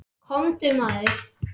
Komdu maður.